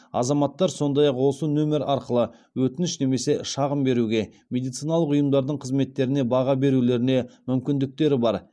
азаматтар сондай ақ осы нөмер арқылы өтініш немесе шағым беруге медициналық ұйымдардың қызметтеріне баға берулеріне мүмкіндіктері бар